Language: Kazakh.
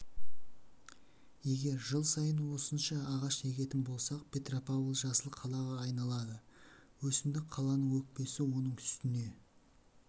егер жыл сайын осынша ағаш егетін болсақ петропавл жасыл қалаға айналады өсімдік қаланың өкпесі оның үстіне